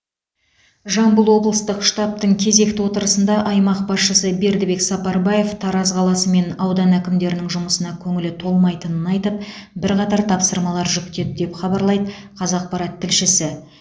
жамбыл облыстық штабтың кезекті отырысында аймақ басшысы бердібек сапарбаев тараз қаласы мен аудан әкімдерінің жұмысына көңілі толмайтынын айтып бірқатар тапсырмалар жүктеді деп хабарлайды қазақпарат тілшісі